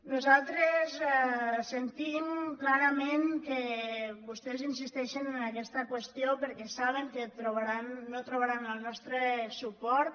nosaltres sentim clarament que vostès insisteixen en aquesta qüestió perquè saben que no trobaran el nostre suport